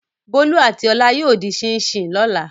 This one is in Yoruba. Bólú àti Ọlá yóò dín ṣíín-ṣiìn lọ́la.